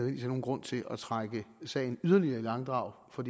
er nogen grund til at trække sagen yderligere i langdrag for